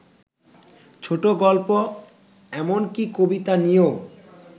ছোটগল্প এমনকি কবিতা নিয়েও